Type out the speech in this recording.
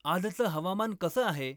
आजचं हवामान कसं आहे?